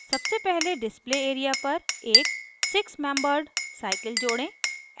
सबसे पहले display area पर एक six membered six membered cycle जोड़ें